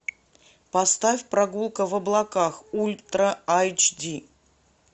поставь прогулка в облаках ультра айч ди